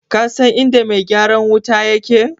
Kasan inda mai gyaran wuta yake?